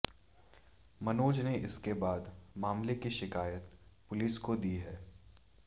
मनोज ने इसके बाद मामले की शिकायत पुलिस को दी है